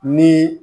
Ni